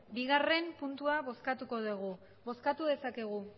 bigarrena puntua bozkatuko dugu bozkatu dezakegu